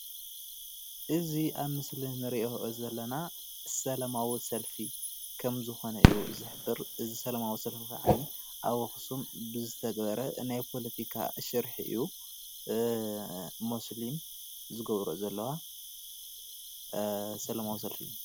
እዚ ኣብ ምስሊ እንሪኦ ዘለና ሰለማዊ ሰልፊ ከም ዝኮነ እዩ ዝሕብር፡፡ እዚ ሰለማዊ ሰልፊ ከዓ ኣብ ኣክሱም ብዝተገረ ናይ ፖለቲካ ሽርሒ እዩ፡፡ ሙስሊም ዝገብረኦ ዘለዋ ሰላማዊ ሰልፊ እዩ፡፡